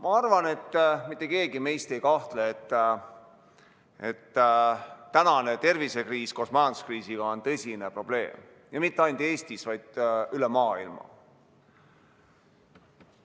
Ma arvan, et mitte keegi meist ei kahtle, et tänane tervisekriis koos majanduskriisiga on tõsine probleem, ja mitte ainult Eestis, vaid üle maailma.